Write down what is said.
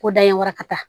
Ko da in wara ka taa